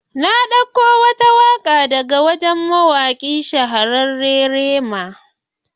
Na dauko wata waka daga wani shahararren mawaki Rema.